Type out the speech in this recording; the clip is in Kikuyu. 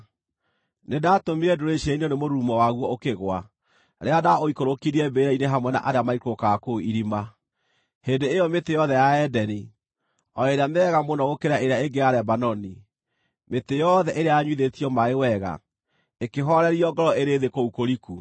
Nĩndatũmire ndũrĩrĩ ciinainio nĩ mũrurumo waguo ũkĩgũa rĩrĩa ndaũikũrũkirie mbĩrĩra-inĩ hamwe na arĩa maikũrũkaga kũu irima. Hĩndĩ ĩyo mĩtĩ yothe ya Edeni, o ĩrĩa mĩega mũno gũkĩra ĩrĩa ĩngĩ ya Lebanoni, mĩtĩ yothe ĩrĩa yanyuithĩtio maaĩ wega, ĩkĩhoorerio ngoro ĩrĩ thĩ kũu kũriku.